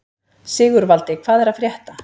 Sigurvaldi, hvað er að frétta?